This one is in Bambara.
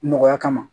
Nɔgɔya kama